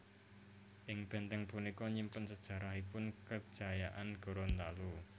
Ing bèntèng punika nyimpen sejarahipun kejayaan Gorontalo